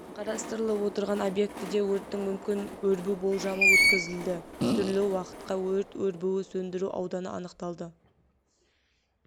қарастырылып отырған объектіде өрттің мүмкін өрбу болжамы өткізілді түрлі уақытқа өрт өрбуі сөндіру ауданы анықталды